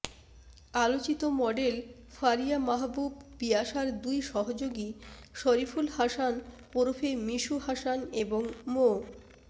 আলোচিত মডেল ফারিয়া মাহবুব পিয়াসার দুই সহযোগী শরিফুল হাসান ওরফে মিশু হাসান এবং মো